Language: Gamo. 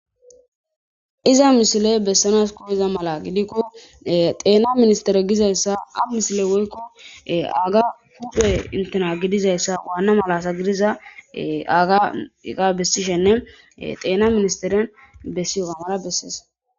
Iza misiley besanas kozaga mala gidiko e xena ministire gizayisa woyiko eyaga huphe initina gididayisa e eyaga mala besishenee xenani besewuga mala beses